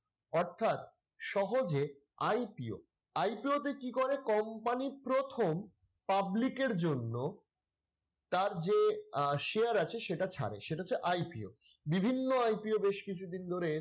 অর্থাৎ সহজে IPO, IPO তে কি করে company প্রথম public এর জন্য তার যে আহ share আছে সেটা ছাড়ে সেটা হচ্ছে IPO বিভিন্ন IPO বেশ কিছুদিন ধরে,